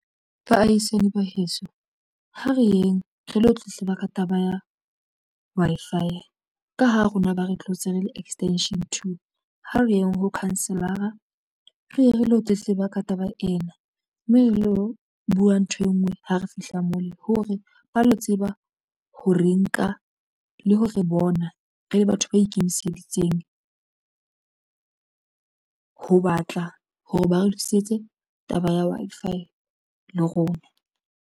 Baahisane ba heso ha re yeng re lo tletleba ka taba ya Wi-Fi ka ho rona ba re tlotse re le extension two ha re yeng ho lekhanselara, re ye re lo tletleba ka taba ena mme re lo buwa ntho e nngwe ha re fihla moo le hore ba lo tseba ha re nka le ho re bona re le batho ba ikemiseditseng ho batla hore ba re lokisetse taba ya Wi-Fi le rona.